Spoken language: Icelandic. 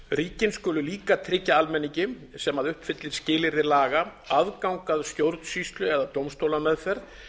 samningsríkin skulu líka tryggja almenningi sem uppfyllir skilyrði laga aðgang að stjórnsýslu eða dómstólameðferð